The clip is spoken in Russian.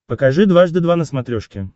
покажи дважды два на смотрешке